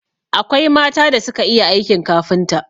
Akwai mata da suka iya aikin kafinta